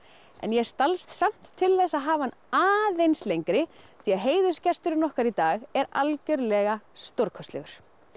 en ég stalst samt til þess að hafa hann aðeins lengri því að heiðursgesturinn okkar í dag er algjörlega stórkostlegur